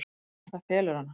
En það felur hana.